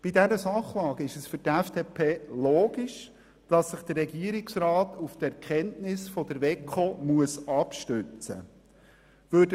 Bei dieser Sachlage ist es für die FDP logisch, dass sich der Regierungsrat auf die Erkenntnisse der WEKO abstützen muss.